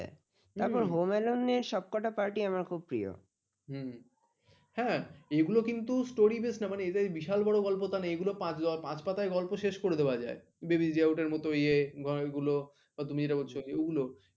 এগুলো কিন্তু story base না মানে এদের বিশাল বড় গল্প তানা এগুলো পাঁচ পাতায় গল্প শেষ করে দেওয়া যায় babies the out এর মতো ইয়ে এগুলো বা তুমি যেটা বলছো ওগুলো